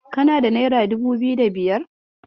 Kana da nera dubu biyu da biyar?